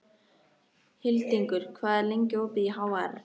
Hildingur, hvað er lengi opið í HR?